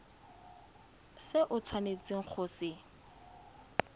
se o tshwanetseng go se